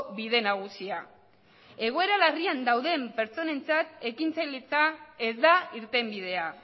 bide nagusia egoera larrian dauden pertsonentzat ekintzailetza ez da irtenbidea